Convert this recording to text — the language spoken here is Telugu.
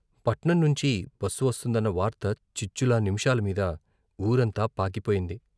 పట్నం నుంచి బస్సు వస్తుందన్న వార్త చిచ్కులా నిమిషాలమీద వూరంతా పాకిపోయింది.